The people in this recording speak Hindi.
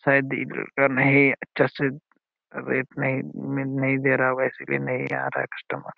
शायद इ लड़का नही अच्छा से रेट नहीं नहीं दे रहा होगा इसलिए नहीं आ रहा होगा कस्टमर ।